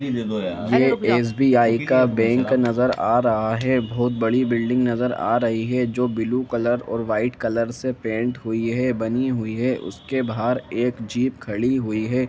SBI का bank नजर आ रहा हैं बहुत बड़ी बिल्डिंग नजर आ रही हैं जो ब्लू कलर और वाइट कलर से पेंट हुई है बनी हुई है उसके बाहर एक जीप खड़ी हुई हैं।